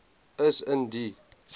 is in die